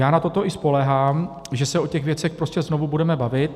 Já na toto i spoléhám, že se o těch věcech prostě znovu budeme bavit.